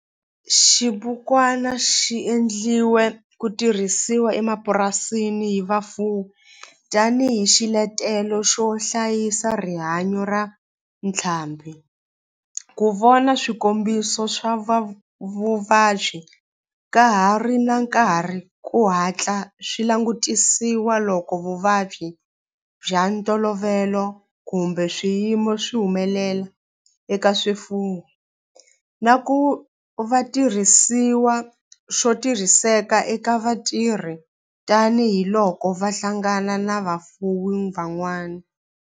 Xibukwana xi endliwe ku tirhisiwa emapurasini hi vafuwi tani hi xiletelo xo hlayisa rihanyo ra ntlhambhi, ku vona swikombiso swa vuvabyi ka ha ri na nkarhi ku hatla swi langutisiwa loko vuvabyi bya ntolovelo kumbe swiyimo swi humelela eka swifuwo, na ku va xitirhisiwa xo tirhiseka eka vatirhi tani hi loko va hlangana na vafuwi van'wana.